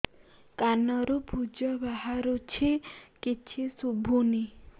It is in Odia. କାନରୁ ପୂଜ ବାହାରୁଛି କିଛି ଶୁଭୁନି